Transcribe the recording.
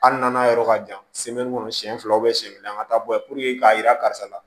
Hali n'an yɔrɔ ka jan kɔnɔ siɲɛ filaw bɛ siɲɛ kelen an ka taa bɔ yen puruke k'a jira karisa la